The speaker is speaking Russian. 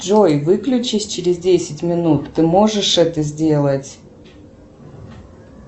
джой выключись через десять минут ты можешь это сделать